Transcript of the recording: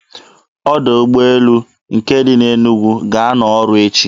Ọdọ ụgbọelu nke dị na Enugu ga-anọ ọrụ echi.